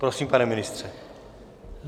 Prosím, pane ministře.